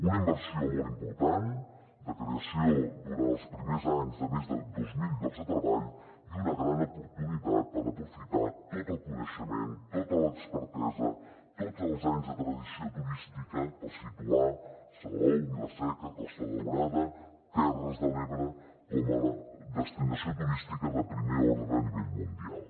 una inversió molt important de creació durant els primers anys de més de dos mil llocs de treball i una gran oportunitat per aprofitar tot el coneixement tota l’expertesa tots els anys de tradició turística per situar salou vila seca costa daurada terres de l’ebre com a destinació turística de primer ordre a nivell mundial